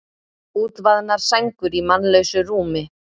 Útvaðnar sængur í mannlausu rúmi.